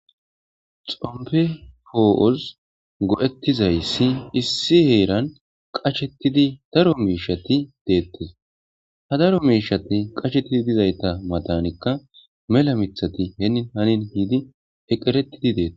Xopidi po'os go'etizayis issi heran qashetidi daro mosheti de'etes ha daro msheti qashetidizaysa matanika mela mithati hini hani meqeritidis